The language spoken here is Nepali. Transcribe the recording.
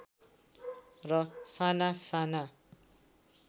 र साना साना